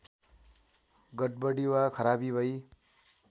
गडबडी वा खराबी भई